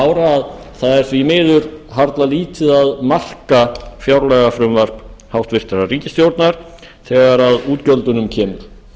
ára að það er því miður harla lítið að marka fjárlagafrumvarp hæstvirtrar ríkisstjórnar þegar að útgjöldunum kemur